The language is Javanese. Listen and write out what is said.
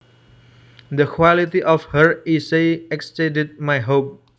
The quality of her essay exceeded my hopes